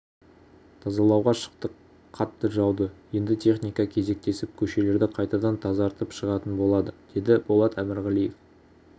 тазалауға шықтық қатты жауды енді техника кезектесіп көшелерді қайтадан тазартып шығатын болады деді болат әмірғалиев